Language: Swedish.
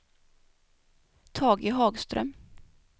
Tage Hagström